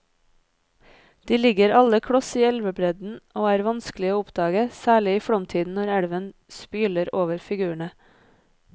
De ligger alle kloss i elvebredden og er vanskelige å oppdage, særlig i flomtiden når elven spyler over figurene.